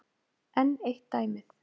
Enn eitt dæmið.